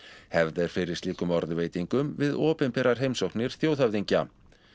hefð er fyrir slíkum við opinberar heimsóknir þjóðhöfðingja